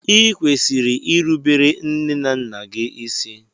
i kwesịrị ịrụbere nne na nna gị ịsị!!